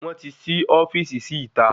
Wọn ti sí ofíìsì sí ìta